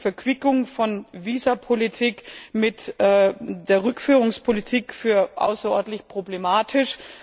Ich halte die Verquickung von Visapolitik und Rückführungspolitik für außerordentlich problematisch.